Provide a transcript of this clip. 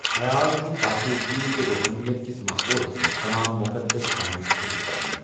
خیال چُھ پٲکیزگی تہٕ روٗحٲنِیت کِس ماحولس منٛز تمام مُقَدس کامہِ شُروٗع کرنہِ۔